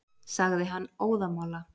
sagði hann óðamála.